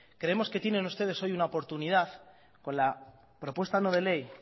creemos que tienen ustedes hoy una oportunidad con la propuesta no de ley